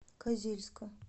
козельска